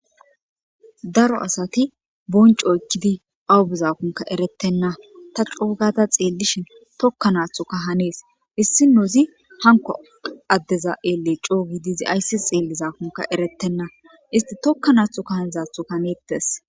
daro asati bonco ekkidi awubuzakonka erettenna ta coogata xeellishin tokka naathuka hanees issi nozi hanko addeza eele coogi diizi ayssi xeelli zaakunka erettenna isti tokka naathu ka hanidzaathuka meettes